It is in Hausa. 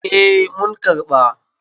eh mun karɓa